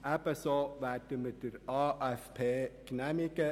Ebenso werden wir den AFP genehmigen.